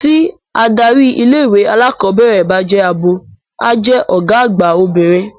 Tí adarí ilé-ìwé alákọ̀ọ́bẹ̀rẹ̀ bá jẹ́ abo, a jẹ́ ọ̀gá àgbà obìnrin.